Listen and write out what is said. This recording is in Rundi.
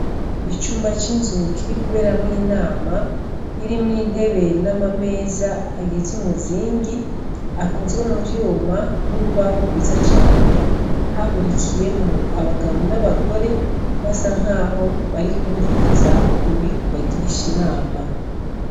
Icumba c'inzu kiri kuberamwo inama, irimwo intebe n'amameza agize umuzingi, akozwe mu vyuma n'urubaho rwiza cane. Hahurikiyemwo abagabo n'abagore basa nkaho bari kwumviriza uwuri kubagirisha inama.